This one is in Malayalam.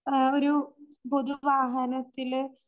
ആഹ് ഒരു